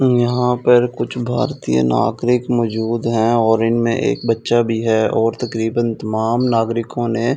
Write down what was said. यहां पर कुछ भारतीय नागरिक मौजूद है और इनमें एक बच्चा भी है और तकरीबन तमाम नागरिकों ने--